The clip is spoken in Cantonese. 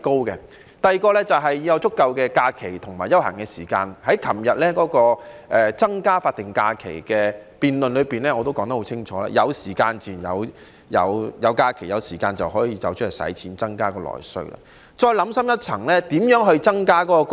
此外，"打工仔"要有足夠的假期和休閒時間，我昨天在增加法定假期的議案辯論中清楚指出，有假期、有時間的話，"打工仔"自然會出外花費，增加內需。